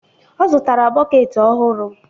Ọ zụtara bọket ọhụrụ.